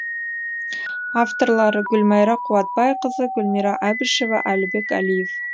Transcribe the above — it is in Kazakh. авторлары гүлмайра қуатбайқызы гүлмира әбішева әлібек әлиев